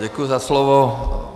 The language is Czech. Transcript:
Děkuji za slovo.